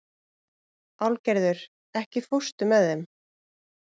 Álfgerður, ekki fórstu með þeim?